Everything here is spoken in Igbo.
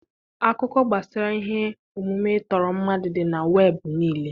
Akụkọ gbasara ihe omume ịtọrọ mmadụ dị na webụ niile.